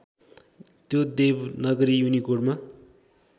त्यो देवनागरी युनिकोडमा